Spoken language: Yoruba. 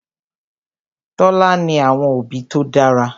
Tola ní àwọn òbí tó dára.